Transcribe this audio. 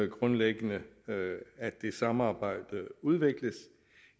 grundlæggende at det samarbejd udvikles